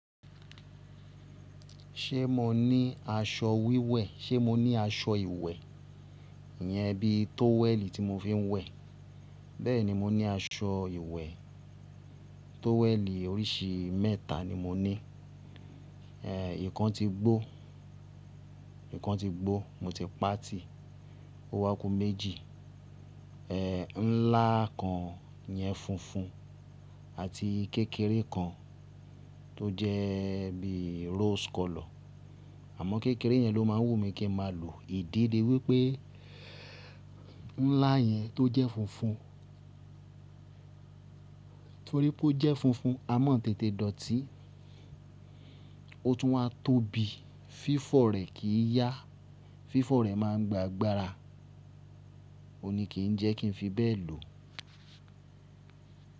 Ṣé mo ní aṣọ wíwẹ̀? Ṣé mo ní aṣọ ìwẹ̀? Iyẹn bíi tówẹ̀lì tí mo fi ń wẹ̀. Bẹ́ẹ̀ni mo ní aṣọ ìwẹ̀ e, tówẹ̀lì oríṣi ii mẹ́ta ni mo ní. Ehn, ìkan ti gbó, ìkan ti gbó mo ti pati, ó wá ku méjì. Ehn, ńlá kan yẹn funfun àti kékeré kan tó jẹ́ e bí rose colour. Àmọ́ kékeré yẹn ló máa ń wù mí kí n máa lò. Ìdí ni wípé ńlá yẹn tó jẹ́ funfun, torí pé ó jẹ́ funfun a má tètè dọ̀tí, ó tún wá tóbi, fífọ̀ rẹ̀ kì í yá, fífọ̀ rẹ̀ máa ń gba agbára, òní kì í jẹ́ kí n fi bẹ́ẹ̀ lò.